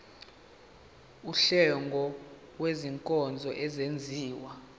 wuhlengo lwezinkonzo ezenziwa